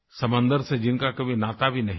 समंदर से जिनका कभी नाता भी नहीं था